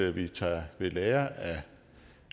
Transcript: at vi tager ved lære af